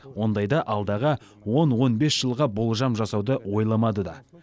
ондайда алдағы он он бес жылға болжам жасауды ойламады да